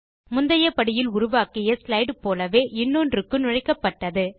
முந்தைய படியில் உருவாக்கிய ஸ்லைடு போலவே இன்னொன்றுக்கு நுழைக்கப் பட்டது